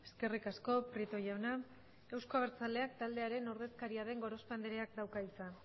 eskerrik asko prieto jauna euzko abertzaleak taldearen ordezkaria den gorospe andreak dauka hitza